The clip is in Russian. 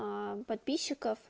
м подписчиком